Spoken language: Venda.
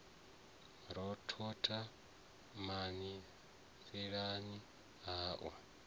ra thotha mani lisani au